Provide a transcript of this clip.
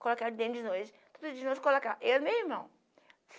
Colocaram dentro de nós, todo dia nós colocava, eu e meu irmão.